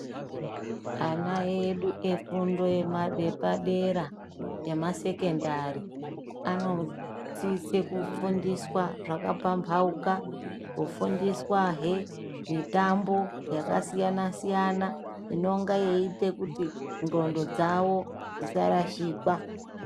Ana edu efundo yepadera emasekendari anosise kufundiswe zvakapambauka. Kufundiswahe mitombo yakasiyana-siyana inonga yeiite kuti ndxondo dzavo dzisarashikwa.